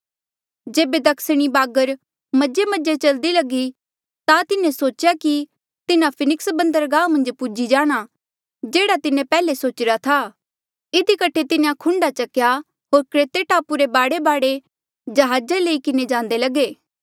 जेबे दक्षिणी बागर मजेमजे चलदी लगी ता तिन्हें सोचेया कि तिन्हा फिनिक्स बन्दरगाह मन्झ पूजी जाणा जेह्ड़ा तिन्हें पैहले सोचिरा था इधी कठे तिन्हें खुंडे चकेया होर क्रेते टापू रे बाढेबाढे जहाज लई किन्हें जांदे लगे